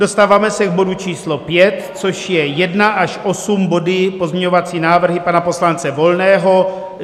Dostáváme se k bodu číslo 5, což je 1 až 8 body pozměňovací návrhy pana poslance Volného.